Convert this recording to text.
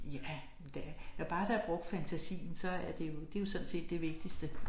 Ja da når bare der er brugt fantasien så er det jo det jo sådan set det vigtigste